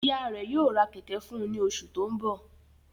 Iya rẹ yoo ra kẹ̀kẹ́ fun u ni osu to nbo